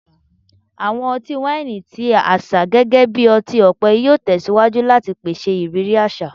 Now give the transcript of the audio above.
Awọn ọti-waini ti aṣa gẹgẹbi ọti-ọpẹ yoo tẹsiwaju lati pese iriri aṣa